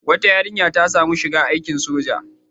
Wata yarinya ta sami shiga aikin soja.